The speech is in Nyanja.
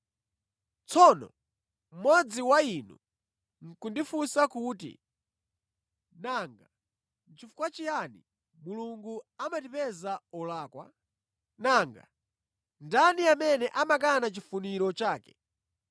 Tsono mmodzi wa inu nʼkundifunsa kuti, “Nanga nʼchifukwa chiyani Mulungu amatipeza olakwa? Nanga ndani amene amakana chifuniro chake?”